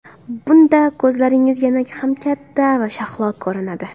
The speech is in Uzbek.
Bunda ko‘zlaringiz yana ham katta va shahlo ko‘rinadi.